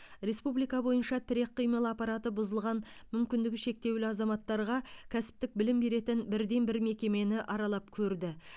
республика бойынша тірек қимыл аппараты бұзылған мүмкіндігі шектеулі азаматтарға кәсіптік білім беретін бірден бір мекемені аралап көрді